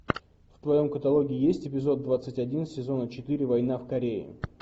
в твоем каталоге есть эпизод двадцать один сезона четыре война в корее